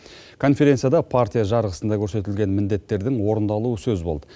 конференцияда партия жарғысында көрсетілген міндеттердің орындалуы сөз болды